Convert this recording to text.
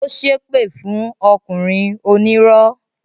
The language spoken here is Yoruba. Ó ṣépè fún ọkùnrin onírọ́